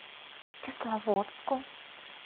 кисловодску